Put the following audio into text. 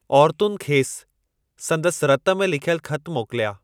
औरतुनि खेसि सन्दसि रत में लिख्यल ख़त मोकिलिया।